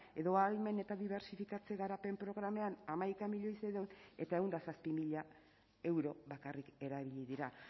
edo ahalmen eta dibertsifikatze garapen programetan hamaika milioi seiehun mila eta ehun eta zazpi mila euro bakarrik erabili dira